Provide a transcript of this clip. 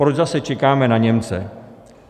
Proč zase čekáme na Němce?